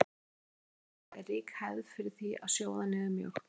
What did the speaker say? Á Indlandsskaga er rík hefð er fyrir því að sjóða niður mjólk.